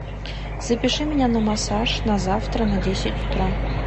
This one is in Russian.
запиши меня на массаж на завтра на десять утра